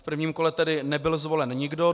V prvním kole tedy nebyl zvolen nikdo.